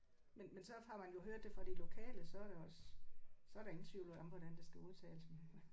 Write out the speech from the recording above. Men men så har man jo hørt det fra de lokale så er der også så er der ingen tvivl om hvordan det skal udtales men